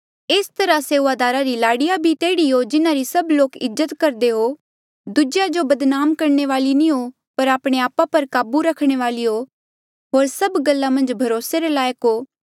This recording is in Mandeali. एस तरहा सेऊआदारा री लाड़ीया भी तेह्ड़ी हो जिन्हारी सब लोक इज्जत करदे हो दूजेया जो बदनाम करणे वाली नी हो पर आपणे आपा पर काबू रखणे वाली हो होर सभ गल्ला मन्झ भरोसे रे लायक हो